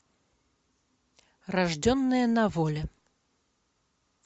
рожденные на воле